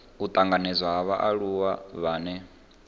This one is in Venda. u tanganedzwa ha vhaaluwa vhane